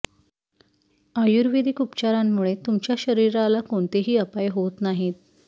आयुर्वेदिक उपचारांमुळे तुमच्या शरीराला कोणतेही अपाय होत नाहीत